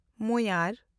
ᱢᱳᱭᱟᱨ